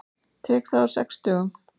Tek það á sex dögum.